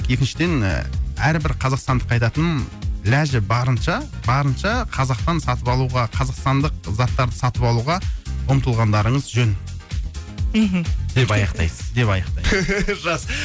екіншіден әрбір қазақстандыққа айтатыным ләжі барынша барынша қазақтан сатып алуға қазақстандық заттарды сатып алуға ұмтылғандарыңыз жөн мхм деп аяқтайсыз деп аяқтаймын жақсы